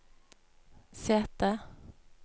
sete